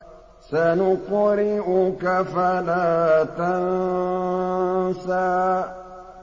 سَنُقْرِئُكَ فَلَا تَنسَىٰ